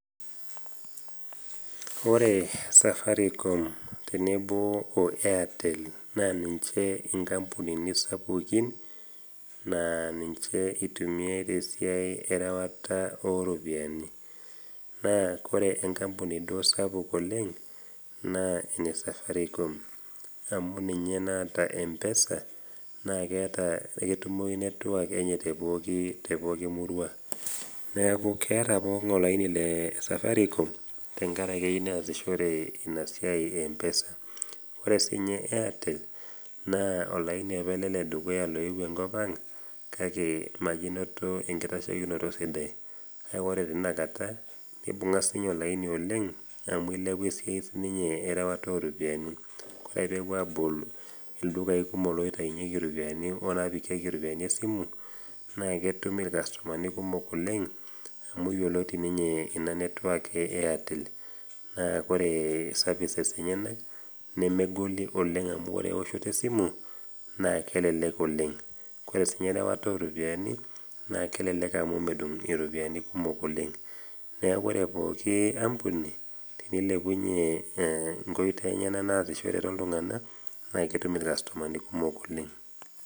Ore Safaricom tenebo o Airtell naa ninche inkampunini sapukin naa ninche eitumiyai te esiai ereware o iropiani. Naa ore enkampuni sapuk duo oleng' naa ene Safaricom, amu ninye naata empesa naa keata naa etumoyu network enye te pooki pooki murua. Neaku keata pooki ng'ai olaini e Safaricom, tenkaraki eyou neasishore ina siai e empesa. Ore sii ninye Airtel naa olaini opa le dukuya oewuo enkop ang' kake majo einoto enkitashekinoto sidai. Kake ore tena kata neibung'a sii ninye olaini oleng' amu eilepua esiai siininye enkirewata oo iropiani, ore ake pee ewuo abolu ildukai kumok oitayunyeki iropiani esimu naa ketum ake ilkastomani kumok oleng', amu yioloti ninye ina network e Airtel, naa kore services enyena nemegoli oleng' amu ore eoshoto e simu naa kelelek oleng'. Kore ninye erewata o ropiani naa kelelek amu medung' iropiani oleng'. Neaku ore pooki ampuni teneilepunye inkoitoi enyena naasishore naa ketum iropiani kumok oleng'.